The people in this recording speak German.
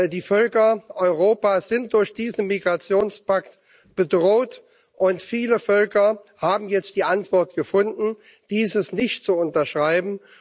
Die Völker Europas sind durch diesen Migrationspakt bedroht, und viele Völker haben jetzt die Antwort gefunden, dieses nicht zu unterschreiben.